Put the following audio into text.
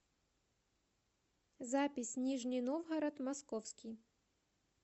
запись нижний новгород московский